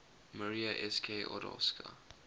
maria sk odowska